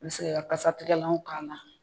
I bi se ka kasatigɛlanw k'a la.